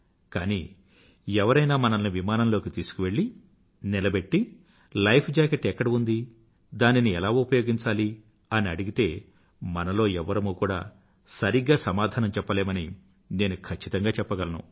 కానీ ఎవరైనా మనల్ని విమానంలోకి తీసుకువెళ్ళి నిలబెట్టి లైఫ్ జాకెట్ ఎక్కడ ఉంది దానిని ఎలా ఉపయోగించాలి అని అడిగితే మనలో ఎవ్వరమూ కూడా సరిగ్గా సమాధానం చెప్పలేమని నేను ఖచ్చితంగా చెప్పగలను